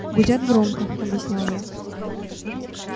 гудят громко объяснял я